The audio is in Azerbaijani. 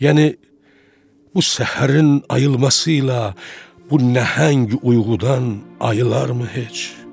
Yəni bu səhərin ayılmasıyla bu nəhəng uyğudan ayılar mı heç?